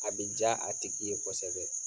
A bɛ diya a tigi ye kosɛbɛ